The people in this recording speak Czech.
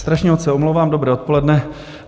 Strašně moc se omlouvám, dobré odpoledne.